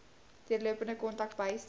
deurlopende kontak bystand